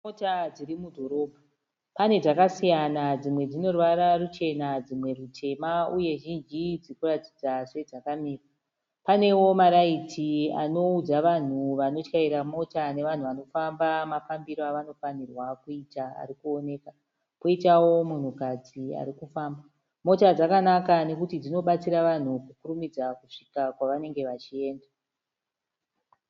Mota zvrimudhorobha panedzakasiyana dzimwe zvineruvara rwakasiyana ,zvimwe zvineruvara ruchena dzimwe rutema uye izhinji dzirikuratidza sedzakamira. Pane wo amraiti anowudza vanhuvanoshayera mota nevanhu vanifamba mafambiro afanonirwa kuita arikuwonwka. Poita wo munhu kadzi arikufamba. Mota dzakanaka nekuti dzinopatsira vanhu kukurimidza kusvika kwavanenge vachiyenda.